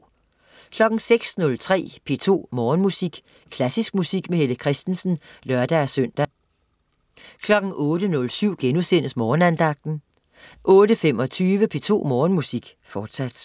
06.03 P2 Morgenmusik. Klassisk musik med Helle Kristensen (lør-søn) 08.07 Morgenandagten* 08.25 P2 Morgenmusik, fortsat